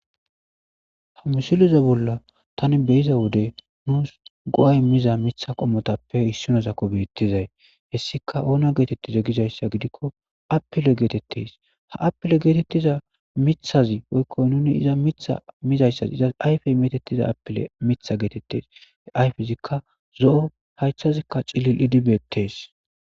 Ha missileza bolla tan be'zza wodde nuss goa' immizza miththa qomothappe issinaziki bethizay hessika onna gethethize giza gidikko appile gethethess ha appille gethethiza miththazi woykko nuni izza mitha mizayssa izzas ayppe methethiza appille miththa gethethes he aypezikka zoo' haythazikka cillilidi bethess.